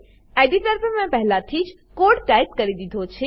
editor પર મેં પહેલાથી જ કોડ ટાઈપ કરી દીધો છે